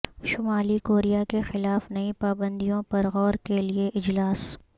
شمالی کوریا کے خلاف نئی پابندیوں پر غور کے لیے اجلاس